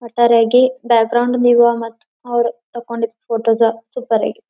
ಒಟ್ಟಾರೆಯಾಗಿ ಬ್ಯಾಗ್ರೌಂಡ್ ನೀವ ಮತ್ ಅವ್ರ ತೆಕ್ಕೊಂಡಿದ್ ಫೋಟೋ ಸೂಪರ್ ಆಗೈತಿ.